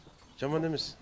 жаман емес